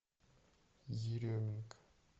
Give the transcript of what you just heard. еременко